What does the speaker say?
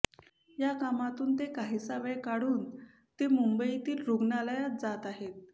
या कामातून ते काहीसा वेळ काढून ते मुंबईतील रूग्णालयात जात आहेत